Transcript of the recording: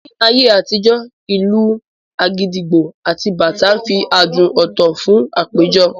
Ní ayé àtijó, ìlù agidigbo àti bàtá ń fi adùn ọ̀tọ̀ kún àpéjọ